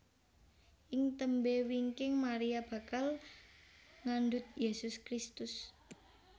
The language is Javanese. Ing tembé wingking Maria bakal ngandhut Yésus Kristus